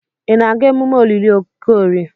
Ị na-aga emume olili Okorie?